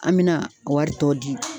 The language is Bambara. An bɛna wari tɔ di.